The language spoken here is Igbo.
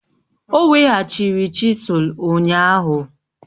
O weghachiri chisụl ụnyahụ